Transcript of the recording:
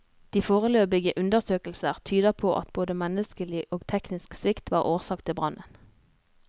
De foreløpige undersøkelser tyder på at både menneskelig og teknisk svikt var årsak til brannen.